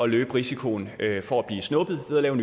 løbe risikoen for at blive snuppet i at lave